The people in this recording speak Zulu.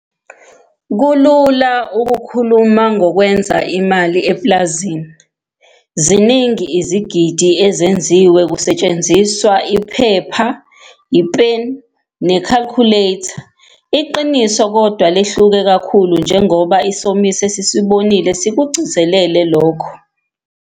Kulula ukukhuluma ngokwenza imali epulazini, ziningi 'izigidi' 'ezenziwe' kusetshenziswa iphepha, ipeni nekhakhuletha. Iqiniso kodwa lehluke kakhulu njengoba isomiso esisibonile sikugcizelele lokho.